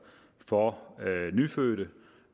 for nyfødte